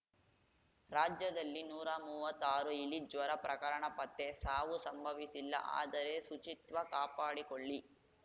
ರಾಜ್ಯದಲ್ಲಿ ನೂರಾ ಮೂವತ್ತಾರು ಇಲಿಜ್ವರ ಪ್ರಕರಣ ಪತ್ತೆ ಸಾವು ಸಂಭವಿಸಿಲ್ಲ ಆದರೆ ಶುಚಿತ್ವ ಕಾಪಾಡಿಕೊಳ್ಳಿ